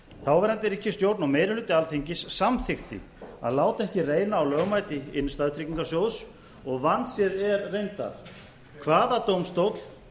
þáverandi ríkisstjórn og meiri hluti alþingis samþykkti að láta ekki reyna á lögmæti innstæðutryggingasjóðs og vandséð er reyndar hvaða dómstóll